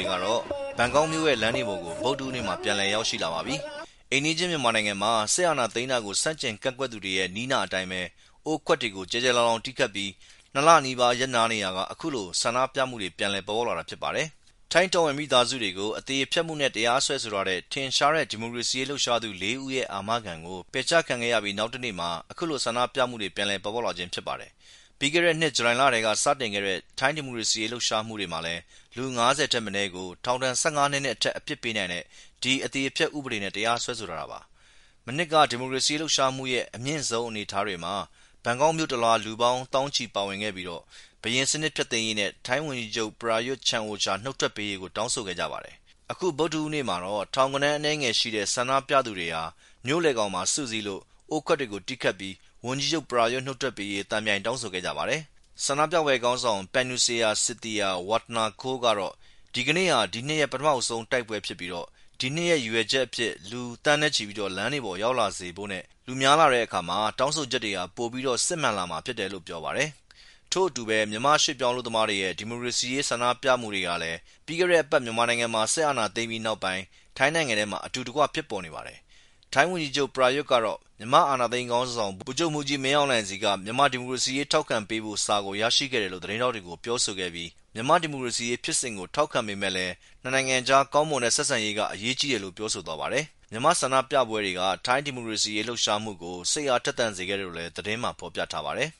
ွေကတော့ ဘန်ကောက်မြိုရဲ့လမ်းတွေပေါ်ကို ဗုဒ္ဓဟူးနေ့မှာ ပြန်လည်ရောက်ရှိလာပါပြီ။ အိမ်နီးချင်းမြန်မာနိုင်ငံက စစ်အာဏာသိမ်းဆန့်ကျင်ကန့်ကွက်သူတွေရဲ့ နည်းနာအတိုင်းပဲ အိုးခွတ်တွေကို ကျယ်ကျယ်လောင်လောင် တီးခတ်ပြီး ၂ လအကြာရပ်နားနေရာက အခုလိုပြန်လည် ဆန္ဒပြမှုတွေပြန်လည် ဖြစ်ပေါ်လာတာပါ။ ထိုင်းတော်ဝင်မိသားစုတွေကို အသေဖျက်မှုနဲ့တရားစွဲဆိုထားတဲ့ ထင်ရှားတဲ့ ဒီမိုကရေစီရေး လှုပ်ရှားသူ လေးဦးရဲ့ အာမခံကို ပယ်ချခံရပြီး နောက်နေ့မှာ အခုလိုဆန္ဒပြမှုတွေ ပြန်လည်ပေါ်ပေါက်လာတာပါ။ ပြီးခဲ့တဲ့နှစ် ဂျူလိုင်လကထဲကစတင်ခဲ့တဲ့ ထိုင်းဒီမိုကရေစီရေးလှုပ်ရှာမှုတွေမှာ လူ ၅၀ ထက် မနည်းကို ထောင်ဒဏ် ၁၅ နှစ်နဲ့အထက်အပြစ်ပေးနိုင်တဲ့ ဒီဥပဒေနဲ့ တရားစွဲဆိုထားတာပါ။ မနှစ်က ဒီမိုကရေစီရေးလှုပ်ရှားမှုရဲ့ အမြင့်ဆုံးအနေအထားတွေမှာ ဘန်ကောက်မြို့တလွှား လူပေါင်း သောင်းချီပါဝင်ခဲ့ပြီး ဘုရင်စနစ်ဖျက်သိမ်းပေးရေးနဲ့ ဝန်ကြီးချုပ် Prayut Chan-O-Cha နှုတ်ထွက်ပေးရေး တောင်းဆိုခဲ့ကြပါတယ်။ အခုဗုဒ္ဓဟူးနေ့မှာတော့ ထောင်ဂဏန်းအနည်းငယ်ရှိတဲ့ ဆန္ဒပြသူတွေဟာ မြို့လည်ခေါင်မှာ စုစည်းလို့အိုးခွက်တွေကို တီးခတ်ပီး ဝန်ကြီးချုပ် Prayut နုတ်ထွက်ပေးဖို့ သံပြိုင်တောင်းဆို ခဲ့ကြပါတယ်။ ဆန္ဒပြပွဲခေါင်းဆောင် Panusaya Sithijirawattanakul ကတော့ “ ဒီနေ့ဟာ ဒီနှစ်ရဲ့ ပထမဦးဆုံးတိုက်ပွဲပဲ ။ ဒီနှစ်မှာ ကျနော်တို့ရဲ့ ရည်ရွယ်ချက်က လူသန်းနဲ့ချီပြီး လမ်းတွေပေါ်ရောက်လာဖို့နဲ့လူများလာတဲ့အခါ ကျနော်တို့ရဲ့ တောင်းဆိုချက်တွေဟာ ပိုပြီး စစ်မှန်လာမှာဖြစ်တယ်” လို့ပြောပါတယ်။ ထို့အတူပဲ မြန်မာ ရွှေ့ပြောင်းအလုပ်သမားတွေရဲ့ ဒီမိုကရေစီရေး ဆန္ဒပြမှုတွေကလည်း ပြီးခဲ့တဲ့အပတ် မြန်မာနိုင်ငံမှာ စစ်အာဏာသိမ်းပြီးနောက်ပိုင်း ထိုင်းနိုင်ငံထဲမှာ အတူတကွ ဖြစ်ပေါ်နေပါတယ်။ ထိုင်းဝန်ကြီးချုပ် Prayut ကတော့ မြန်မာအာဏာသိမ်းခေါင်းဆောင် ဗိုလ်ချုပ်မှူးကြီး မင်းအောင်လှိုင်ဆီက မြန်မာဒီမိုကရေစီရေး ထောက်ခံပေးဖို့စာကိုရရှိခဲ့တယ်လို့သတင်းထောက်တွေကို ပြောဆိုခဲ့ပြီး မြန်မာဒီမိုကရေစီရေးဖြစ်စဉ်ကို ထောက်ခံပေမယ့် နှစ်နိုင်ငံအကြားကောင်းမွန်တဲ့ ဆက်ဆံရေးကလည်း အရေးကြီးတယ်လို့ ပြောဆို ထားပါတယ်။ မြန်မာ့ဆန္ဒပြပွဲတွေက ထိုင်းဒီမိုကရေစီရေးလှုပ်ရှားမှုကို စိတ်အားထက်သန်စေခဲ့တယ်လို့လည်း သတင်းထဲမှာဖော်ပြထားပါတယ်